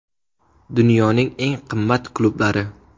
Dunyoning eng qimmat klublari.